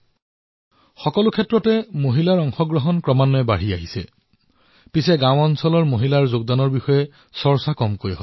ক্ষেত্ৰ যিয়েই নহওক কিয় দেশৰ মহিলাসকলৰ অংশীদাৰীত্ব বৃদ্ধি পাবলৈ ধৰিছে কিন্তু প্ৰায়েই আমি দেখা পাইছো যে দেশৰ গাঁওসমূহত হোৱা এনে ধৰণৰ পৰিৱৰ্তনৰ বিষয়ে চৰ্চা নহয়